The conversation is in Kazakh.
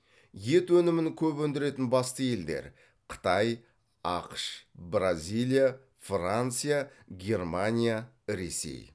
ет өнімін көп өндіретін басты елдер қытай ақш бразилия франция германия ресей